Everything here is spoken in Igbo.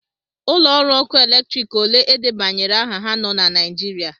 Ụlọ ọrụ ọkụ eletrik ole edebanyere aha ha nọ na Naịjirịa??